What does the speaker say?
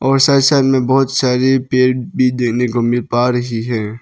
और side side में बहोत सारे पेड़ भी देखने को मिल पा रही है।